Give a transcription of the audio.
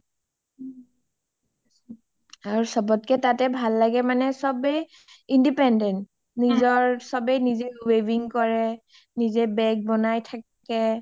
আৰু চবতকে তাতে ভাল লাগে মানে চবেই independent চবে নিজে weaving কৰে নিজে bag বনাই থাকে